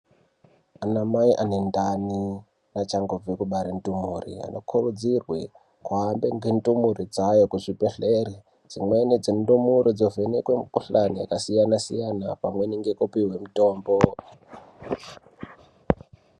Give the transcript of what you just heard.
Anamai anendani neachangobve kubara ndumure, anokurudzirwe kuhambe ngendumure dzawo kuzvibhedhlera. Dzimweni dzendumure dzovhenekwe mikhuhlane yakasiyana-siyana pamwe ngekupihwe mitombo.